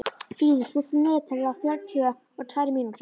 Fríður, stilltu niðurteljara á fjörutíu og tvær mínútur.